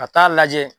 Ka taa lajɛ